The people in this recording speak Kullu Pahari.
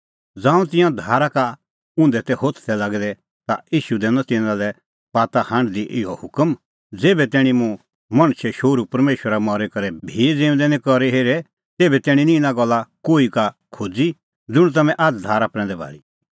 ज़ांऊं तिंयां धारा का उंधै तै होथदै लागै ता ईशू दैनअ तिन्नां लै बाताहांढदी इहअ हुकम ज़ेभै तैणीं मुंह मणछे शोहरू परमेशर मरी करै भी ज़िऊंदै निं करी हेरे तेभै तैणीं निं इना गल्ला कोही का खोज़ी ज़ुंण तम्हैं आझ़ धारा प्रैंदै भाल़ी